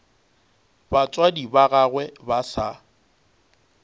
batswadi ba gagwe ba sa